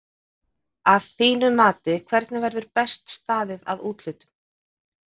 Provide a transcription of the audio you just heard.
Að þínu mati hvernig verður best staðið að úthlutun?